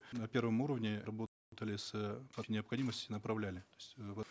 на первом уровне необходимости направляли то есть в